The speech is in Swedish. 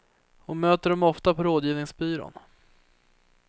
Hon möter dem ofta på rådgivningsbyrån.